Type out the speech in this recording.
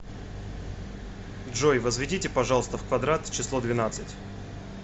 джой возведите пожалуйста в квадрат число двенадцать